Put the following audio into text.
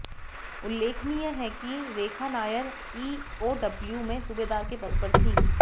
उल्लेखनीय है कि रेखा नायर ईओडब्ल्यू में सूबेदार के पद पर थीं